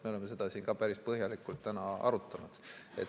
Me oleme seda päris põhjalikult täna arutanud.